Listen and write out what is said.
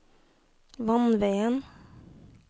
vannveien